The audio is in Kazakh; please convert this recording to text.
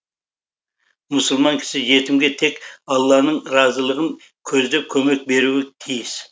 мұсылман кісі жетімге тек алланың разылығын көздеп көмек беруі тиіс